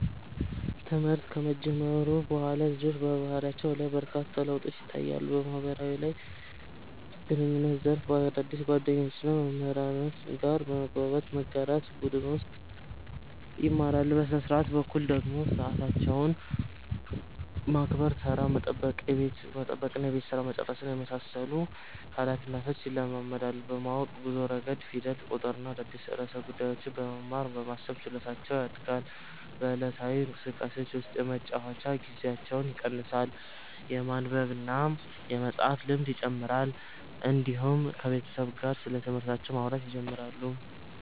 ትምህርት ከጀመሩ በኋላ ልጆች በባህሪያቸው ላይ በርካታ ለውጦች ይታያሉ። በማህበራዊ ግንኙነት ዘርፍ ከአዳዲስ ጓደኞችና መምህራን ጋር መግባባት፣ መጋራትና በቡድን መስራት ይማራሉ። በሥነ-ሥርዓት በኩል ደግሞ ሰዓታቸውን ማክበር፣ ተራ መጠበቅና የቤት ሥራ መጨረስን የመሳሰሉ ኃላፊነቶች ይለማመዳሉ። በማወቅ ጉዞ ረገድ ፊደል፣ ቁጥርና አዳዲስ ርዕሰ ጉዳዮችን በመማር የማሰብ ችሎታቸው ያድጋል። በዕለታዊ እንቅስቃሴዎቻቸው ውስጥ የመጫወቻ ጊዜያቸው ይቀንሳል፣ የማንበብና የመፃፍ ልምድ ይጨምራል፣ እንዲሁም ከቤተሰብ ጋር ስለትምህርታቸው ማውራት ይጀምራሉ።